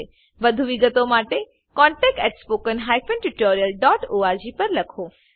વધુ વિગતો માટે contactspoken tutorialorg પર લખો